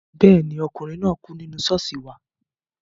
Bẹ́ẹ̀ ni, ọkùnrin náà kú nínú ṣọ́ọ̀ṣì wa